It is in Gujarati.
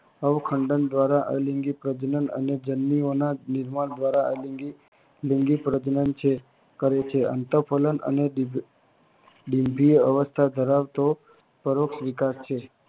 અવખંડન દ્વારા અલિંગી પ્રજનન અને જન્યુઓના નિર્માણ દ્વારા લિંગી પ્રજનન કરે છે. અન્તઃ ફલન અને ડીમ્ભઈય અવસ્થા ધરાવતી પરોઢ વિકાસ છે